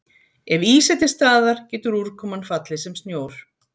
Ef ís er til staðar getur úrkoman fallið sem snjór.